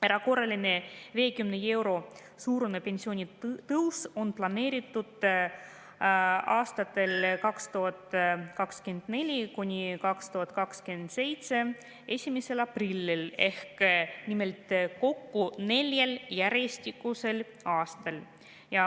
Erakorraline 50 euro suurune pensionitõus on planeeritud 1. aprillil aastatel 2024–2027, kokku neljal järjestikusel aastal.